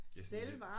Ja sådan lidt